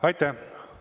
Aitäh!